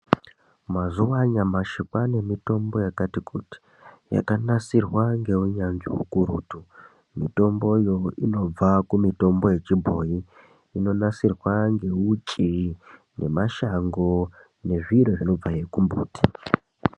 Mazuwa anyamashi kwaane mitombo yakati kuti, yakanasirwa ngeunyanzvi ukurutu. Mitombo yo inobva kumitombo yechibhoyi, inonasirwa ngeuchi, nemashango nezviro zvinobvahe kumumbuti.